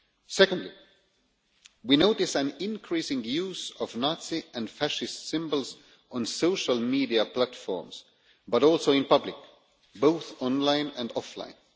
Secondly, we notice an increasing use of Nazi and fascist symbols on social media platforms but also in public, both online and offline.